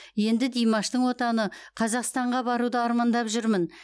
енді димаштың отаны қазақстанға баруды армандап жүрмін